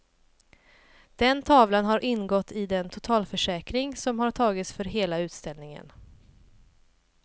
Den tavlan har ingått i den totalförsäkring som tagits för hela utställningen.